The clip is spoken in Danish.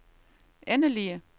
endelige